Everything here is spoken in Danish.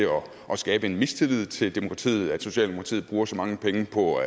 at skabe en mistillid til demokratiet at socialdemokratiet bruger så mange penge på